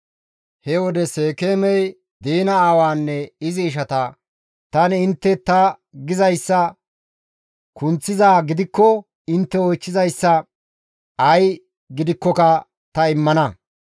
He wode Seekeemey Diina aawaanne izi ishata, «Tani intte ta gizayssa kunththizaa gidikko intte oychchizayssa ay gidikkoka ta immana.